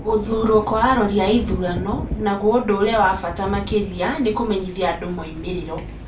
Gũthuurwo kwa arori a ithurano ,naguo ũndũ ũrĩa wa bata makĩria nĩ kũmenyithia andũ moimĩrĩro.